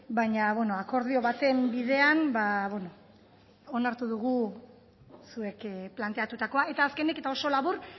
baina bueno akordio baten bidean ba bueno onartu dugu zuek planteatutakoa eta azkenik eta oso labur